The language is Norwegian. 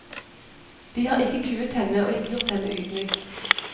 De har ikke kuet henne og ikke gjort henne ydmyk.